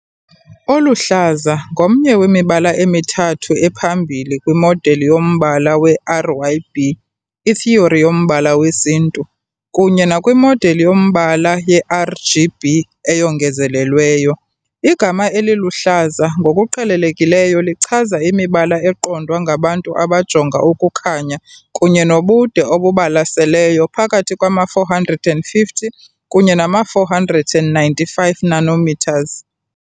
Oluhlaza ngomnye wemibala emithathu ephambili kwimodeli yombala we-RYB, ithiyori yombala wesintu, kunye nakwimodeli yombala ye-RGB, eyongezelelweyo. Igama "eliluhlaza" ngokuqhelelekileyo lichaza imibala eqondwa ngabantu abajonga ukukhanya kunye nobude obubalaseleyo phakathi kwama-450 kunye nama-495 nanometers.